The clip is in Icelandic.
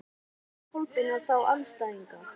Hvernig líst Kolbeini á þá andstæðinga?